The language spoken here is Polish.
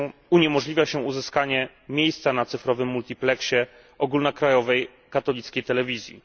Uniemożliwia się uzyskanie miejsca na cyfrowym multipleksie ogólnokrajowej katolickiej telewizji.